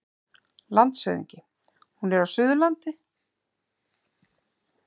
LANDSHÖFÐINGI: Hún er á Suðurlandi.